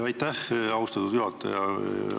Aitäh, austatud juhataja!